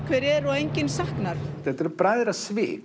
hver er og enginn saknar þetta eru